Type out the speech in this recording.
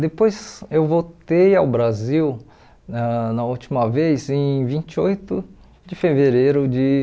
Depois eu voltei ao Brasil, na na última vez, em vinte e oito de fevereiro de